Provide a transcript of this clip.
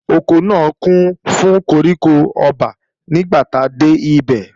Oko náà kún fún koríko ọba nígbàtí a dé bẹ̀